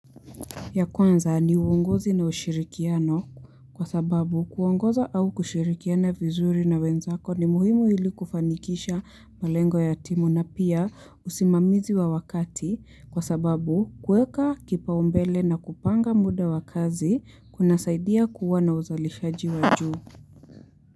Ya kwanza ni uongozi na ushirikiano kwa sababu kuongoza au kushirikiana vizuri na wenzako ni muhimu hili kufanikisha malengo ya timu na pia usimamizi wa wakati kwa sababu kueka kipaombele na kupanga muda wa kazi kuna saidia kuwa na uzalishaji wa juu.